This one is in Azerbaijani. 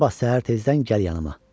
Sabah səhər tezdən gəl yanıma.